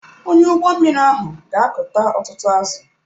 Onye ụgbọ mmiri ahụ ga akụta ọtụtụ azụ̀.